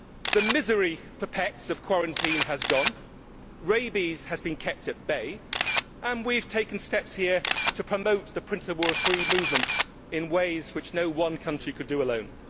The misery for pets of quarantine has gone, rabies has been kept at bay and we have taken steps here to promote the principle of free movement in ways which no one country could do alone.